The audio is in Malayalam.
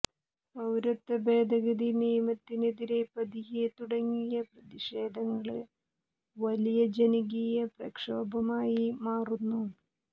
പൌരത്വ ഭേദഗതി നിയമത്തിനെതിരെ പതിയെ തുടങ്ങിയ പ്രതിഷേധങ്ങള് വലിയ ജനകീയ പ്രക്ഷോഭമായി മാറുന്നു